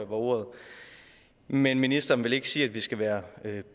brugt men ministeren vil ikke sige at vi skal være